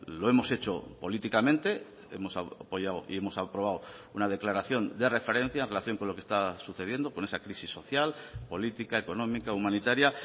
lo hemos hecho políticamente hemos apoyado y hemos aprobado una declaración de referencia en relación con lo que está sucediendo con esa crisis social política económica humanitaria